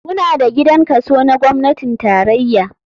Muna da gidan kaso na gwamnatin tarraya.